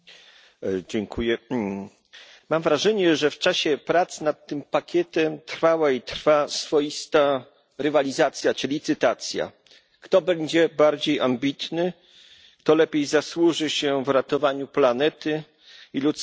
Panie Przewodniczący! Mam wrażenie, że w czasie prac nad tym pakietem trwała i trwa swoista rywalizacja czy licytacja. Kto będzie bardziej ambitny, to lepiej zasłuży się w ratowaniu planety i ludzkości.